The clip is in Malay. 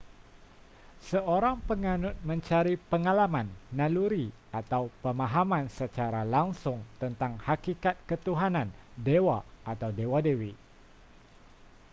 seorang penganut mencari pengalaman naluri atau pemahaman secara langsung tentang hakikat ketuhanan/dewa atau dewa-dewi